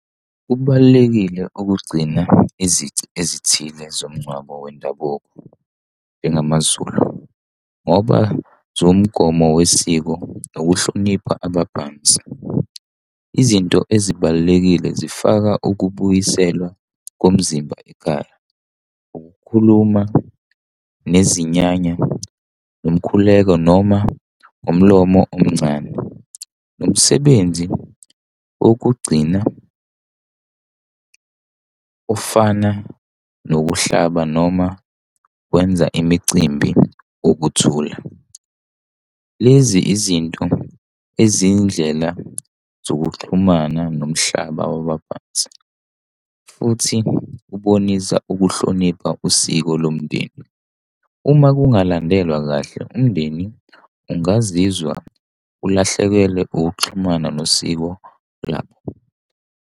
Kubalulekile ukugcina izici ezithile zomngcwabo wendabuko njengamaZulu, ngoba zuwumgomo wesiko nokuhlonipha abaphansi. Izinto ezibalulekile zifaka ukubuyiselwa komzimba ekhaya, ukukhuluma nezinyanya nomkhuleko noma ngomlomo omncane nomsebenzi wokugcina ofana nokuhlaba noma wenza imicimbi wokuthula. Lezi izinto eziyindlela zokuxhumana nomhlaba wabaphansi, futhi ubonisa ukuhlonipha usiko lomndeni. Uma kungalandelwa kahle umndeni ungazizwa ulahlekelwe ukuxhumana nosiko labo.